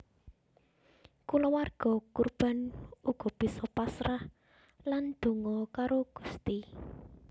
Kulawarga korban uga bisa pasrah lan donga karo Gusti